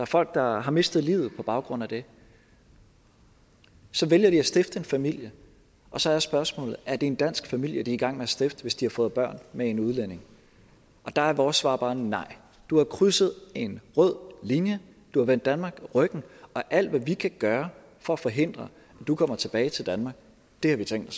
folk der har mistet livet på baggrund af det så vælger de at stifte en familie og så er spørgsmålet er det en dansk familie de er i gang med at stifte hvis de har fået børn med en udlænding der er vores svar bare nej du har krydset en rød linje du har vendt danmark ryggen og alt hvad vi kan gøre for at forhindre at du kommer tilbage til danmark har vi tænkt